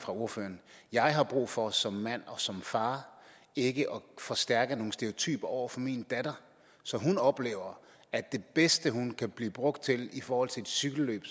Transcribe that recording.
ordføreren jeg har brug for som mand og som far ikke at forstærke nogle stereotyper over for min datter så hun oplever at det bedste hun kan blive brugt til i forhold til et cykelløb